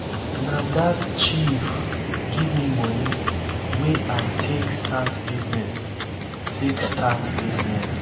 na dat chief give me money wey i take start business take start business.